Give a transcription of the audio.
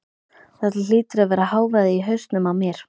Þetta hlýtur að vera hávaði í hausnum á mér.